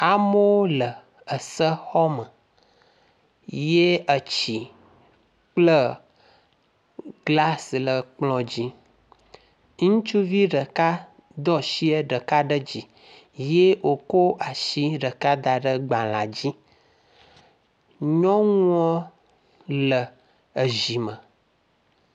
Amewo le ese xɔme ye etsi kple glas le kplɔ dzi. Ŋutsuvi ɖeka do asie ɖeka ɖe dzi ye wòkɔ asi ɖeka da ɖe gbalẽa dzi.